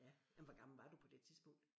Ja jamen hvor gammel var du på det tidspunkt?